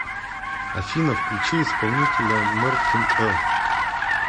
афина включи исполнителя мартин эл